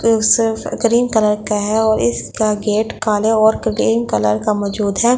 Cream colour का है और इसका गेट काले और क्रीम कलर का मजूद है।